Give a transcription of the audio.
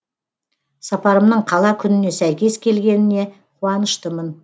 сапарымның қала күніне сәйкес келгеніне қуаныштымын